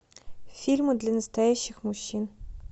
фильмы для настоящих мужчин